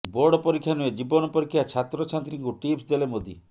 board ପରୀକ୍ଷା ନୁହେଁ ଜୀବନ ପରୀକ୍ଷା ଛାତ୍ରଛାତ୍ରୀଙ୍କୁ ଟିପ୍ସ ଦେଲେ ମୋଦି